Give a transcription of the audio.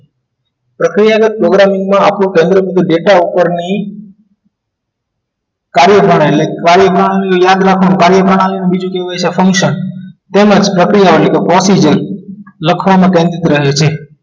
પ્રક્રિયા programming માં આપણું કેન્દ્ર બિંદુ data ઉપરની કાર્યપ્રણાલી એટલે કાર્યમાં યાદ રાખવાનું કાર્યપ્રણાલી બીજું કેવું હોય છે function તેમ જ પ્રક્રિયાઓની પહોંચી જઈશ લખવામાં કેન્દ્રિત રહે છે